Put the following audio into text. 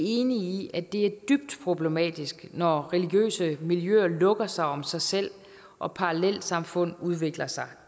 enige i at det er dybt problematisk når religiøse miljøer lukker sig om sig selv og parallelsamfund udvikler sig